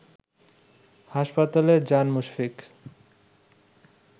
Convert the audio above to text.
হাসপাতালে যান মুশফিক